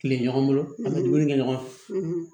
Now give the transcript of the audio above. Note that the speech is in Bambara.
Kile ɲɔgɔn bolo an be dumuni kɛ ɲɔgɔn fɛ